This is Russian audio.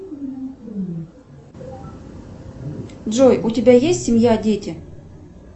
джой у тебя есть семья дети